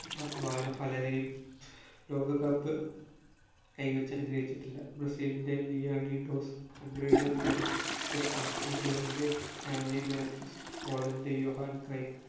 വാ വാണ പലരെയും ലോകകപ്പ് കൈവച്ചനുഗ്രഹിച്ചിട്ടില്ല ബ്രസീലിൻറെ ലിയാനി ഡോസ് ഹംഗറിയുടെ ഫ്രെഡ് പുഷ്കാസ് ഇംഗ്ലണ്ടിന്റെ സ്റ്റാൻലി മാത്യുസ് ഹോളണ്ടിന്റെ യോഹാൻ ക്രൈസ്റ്റ്